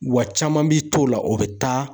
Wa caman bi t'o la, o be taa